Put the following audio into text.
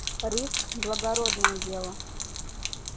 риск благородное дело